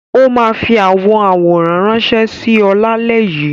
Ó máa fi àwọn àwòrán ránṣẹ́ sí ọ lálẹ́ yìí.